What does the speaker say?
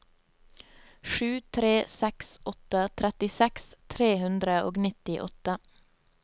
sju tre seks åtte trettiseks tre hundre og nittiåtte